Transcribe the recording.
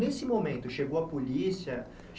Nesse momento, chegou a polícia?